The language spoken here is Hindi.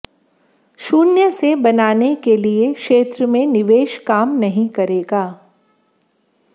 शून्य से बनाने के लिए क्षेत्र में निवेश काम नहीं करेगा